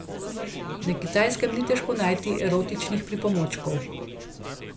Na Kitajskem ni težko najti erotičnih pripomočkov.